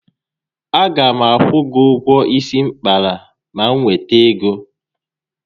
A ga m akwụ gị ụgwọ isi m kpara ma m nwete ego